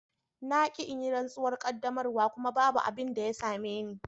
Na ki in yi rantsuwar qaddamarwa kuma babu abin da ya same ni.